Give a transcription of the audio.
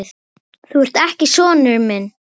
Þú ert ekki sonur minn.